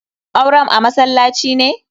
Auren a masallaci ne?